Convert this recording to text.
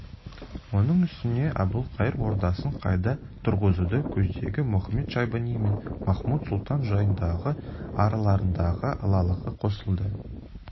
оның үстіне әбілқайыр ордасын қайта тұрғызуды көздеген мұхамед-шайбани мен махмуд-сұлтан жайындағы араларындағы алалығы қосылды